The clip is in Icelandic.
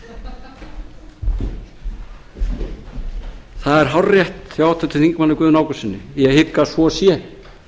það er hárrétt hjá háttvirtum þingmanni guðna ágústssyni ég hygg að svo sé